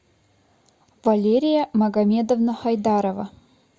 валерия магомедовна хайдарова